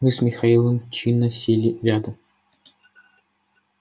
мы с михаилом чинно сели рядом